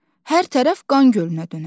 Hər tərəf qan gölünə dönər.